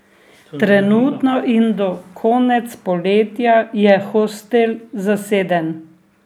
Trenutno in do konec poletja je hostel zaseden.